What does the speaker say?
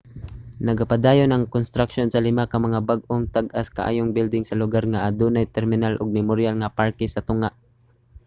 nagapadayon ang konstruksyon sa lima ka mga bag-ong tag-as kaayong building sa lugar nga adunay terminal ug memoryal nga parke sa tunga